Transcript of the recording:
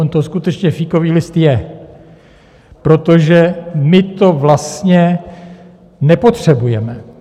On to skutečně fíkový list je, protože my to vlastně nepotřebujeme.